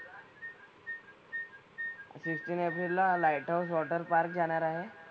Fifteen एप्रिलला light of water park जाणार आहे.